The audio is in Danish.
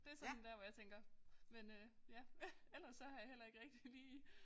Det sådan dér hvor jeg tænker men øh ja ellers så har jeg heller ikke rigtig lige